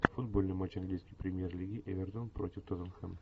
футбольный матч английской премьер лиги эвертон против тоттенхэм